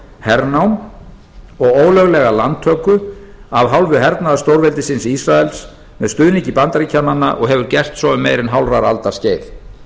hernám og ólöglega landtöku af hálfu hernaðarstórveldisins ísraels með stuðningi bandaríkjanna og hefur gert svo um meira en hálfrar aldar skeið